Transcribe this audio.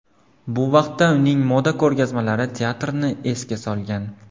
Bu vaqtda uning moda ko‘rgazmalari teatrni esga solgan.